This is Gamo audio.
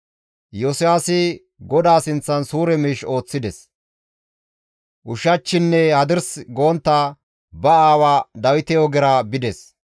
Iyosiyaasi GODAA sinththan suure miish ooththides; ushachchinne hadirs gontta ba aawa Dawite ogera bides.